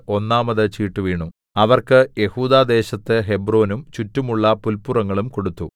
ഒന്നാമത് ചീട്ട് വീണു അവർക്ക് യെഹൂദാദേശത്ത് ഹെബ്രോനും ചുറ്റുമുള്ള പുല്പുറങ്ങളും കൊടുത്തു